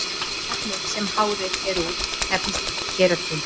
efnið sem hárið er úr nefnist keratín